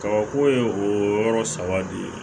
Kabako ye o yɔrɔ saba de ye